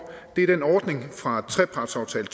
er at den ordning fra trepartsaftale